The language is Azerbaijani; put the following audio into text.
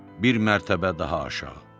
Bir mərtəbə daha aşağı.